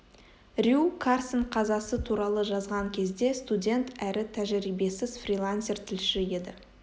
рью карсон қазасы туралы жазған кезде студент әрі тәжірибесіз фрилансер тілші еді